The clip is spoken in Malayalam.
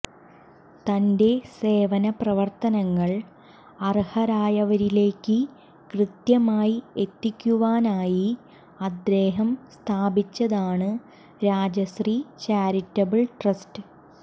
തന്റെ സേവനപ്രവർത്തനങ്ങൾ അർഹരായവരിലേയ്ക്ക് കൃത്യമായി എത്തിക്കുവാനായി അദ്ദേഹം സ്ഥാപിച്ചതാണ് രാജശ്രീ ചാരിറ്റബിൾ ട്രസ്റ്റ്